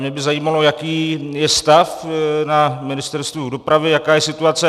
Mě by zajímalo, jaký je stav na Ministerstvu dopravy, jaká je situace.